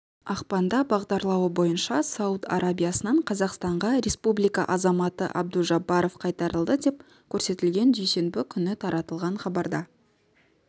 ақпанда бағдарлауы бойынша сауд арабиясынан қазақстанға республика азаматы абдужаббаров қайтарылды деп көрсетілген дүйсенбі күні таратылған хабарда